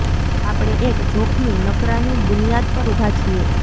આપણે એક જોખમી નકરાની બુનિયાદ પર ઊભા છીએ